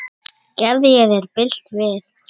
Gerði ég þér bylt við?